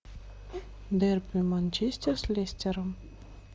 дерби манчестер с лестером